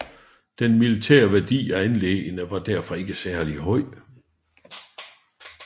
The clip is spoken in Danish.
Den militære værdi af anlæggene var derfor ikke særlig høj